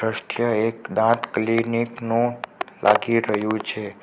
દ્રશ્ય એક દાંત નું લાગી રહ્યુ છે.